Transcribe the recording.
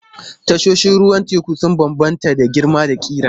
Tashoshin ruwan teku sun bambanta da girma da ƙira.